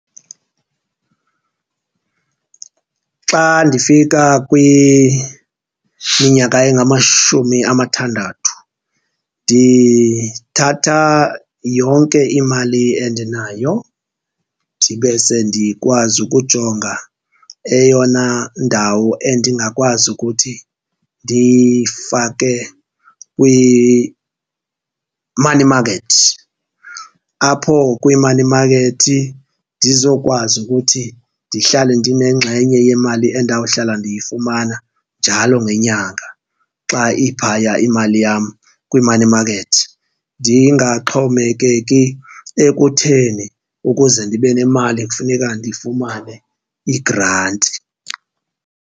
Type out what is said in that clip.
Xa ndifika kwiminyaka engamashumi amathandathu ndithatha yonke imali endinayo ndibe sendikwazi ukujonga eyona ndawo endingakwazi ukuthi ndiyifake kwi-money market. Apho kwi-money market ndizokwazi ukuthi ndihlale ndinengxenye yemali endawuhlala ndiyifumana njalo ngenyanga xa iphaya imali yam kwi-money market, ndingaxhomekeki ekutheni ukuze ndibe nemali kufuneka ndifumane igranti.